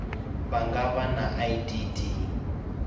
vha nga vha na idd